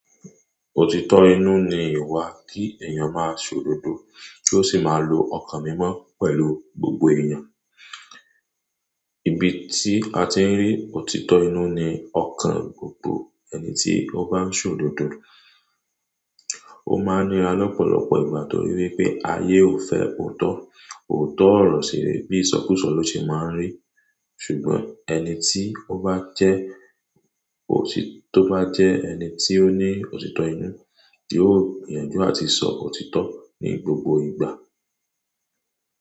Òtítọ́ inú ni ìwà kí èèyàn máa ṣòdodo kí ó sì máa lo ọkàn mímọ́ pẹ̀lú gbogbo èèyàn. Ibi tí a ti ń rí òtítọ́ inú ni ọkàn gbogbo ẹni tí ó bá ń ṣòdodo. Ó máa n nira lọ́pọ̀lọpọ̀ ìgbà torí wípé ayé ò fẹ́ òótọ́. Òótọ́ ọ̀rọ̀ ṣe bí ísọ kú sọ ló ṣe máa ń rí. Ṣùgbọ́n ẹni tí ó bá jẹ́ òṣì tó bá jẹ́ ẹni tí ó ní òtítọ́ inú, yóò gbiyànjú àti sọ òtítọ́ ní gbogbo ìgbà.